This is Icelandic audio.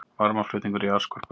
Varmaflutningur í jarðskorpunni